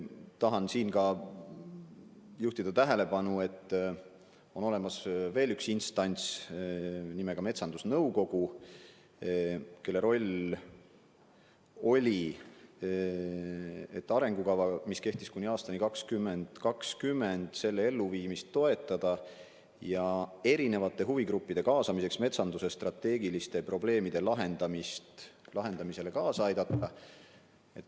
Tahan siin ka juhtida tähelepanu, et on olemas üks instants nimega metsandusnõukogu, kelle roll oli toetada selle arengukava elluviimist, mis kehtis kuni aastani 2020, ja huvigruppide kaasates metsanduse strateegiliste probleemide lahendamisele kaasa aidata.